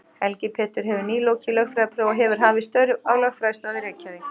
Helgi Pétur hefur nýlokið lögfræðiprófi og hefur hafið störf á lögfræðistofu í Reykjavík.